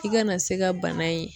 I kana se ka bana in